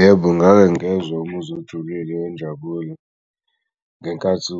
Yebo ngake ngezwa umuzwa ojulile wenjabulo ngenkathi